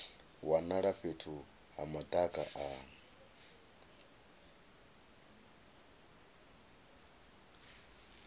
wanala fhethu ha madaka a